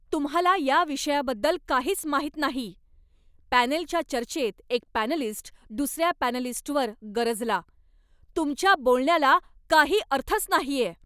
तुम्हाला या विषयाबद्दल काहीच माहित नाही, पॅनेलच्या चर्चेत एक पॅनलिस्ट दुसऱ्या पॅनलिस्टवर गरजला. "तुमच्या बोलण्याला काही अर्थच नाहीये!"